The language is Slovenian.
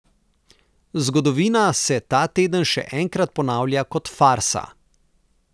Zgodovina se ta teden še enkrat ponavlja kot farsa.